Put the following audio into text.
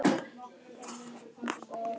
Fljúgðu burt í friði.